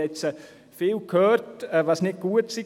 Ich habe vieles gehört, was an diesen nicht gut sei.